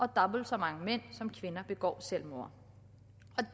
dobbelt så mange mænd som kvinder begår selvmord